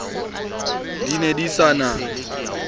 di ne di se na